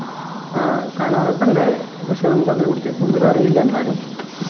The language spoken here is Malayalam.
ആഹ് കാണാറൊക്കെണ്ട് പക്ഷെ നമുക്ക് അതിനെ കുറിച്ച് കൂടുതൽ അറിയില്ല എന്നാലും